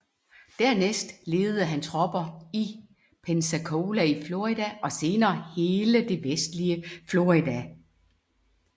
Dernæst ledede han tropper i Pensacola i Florida og senere hele det vestlige Florida